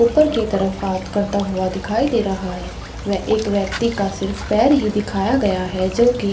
ऊपर की तरफ हाथ करता हुआ दिखाई दे रहा है व एक व्यक्ति का सिर्फ पैर ही दिखाया गया है जो की --